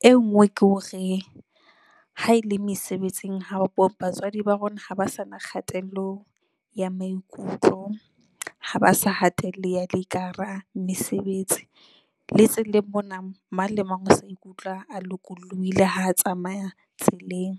E nngwe ke hore ha ele mesebetsing batswadi ba rona ha ba sa na kgatello ya maikutlo, ha ba sa hatelleha le ka hara mesebetsi le tseleng mona, mang le mang o se a ikutlwa a lokollohile ha a tsamaya tseleng.